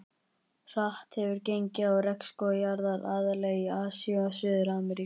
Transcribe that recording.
Hratt hefur gengið á regnskóga jarðar, aðallega í Asíu og Suður-Ameríku.